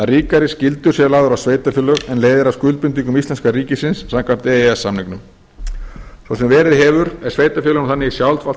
ríkari skyldur séu lagðar á sveitarfélög en leiðir af skuldbindingum íslenska ríkisins samkvæmt e e s samningnum svo sem verið hefur er sveitarfélögum þannig í sjálfsvald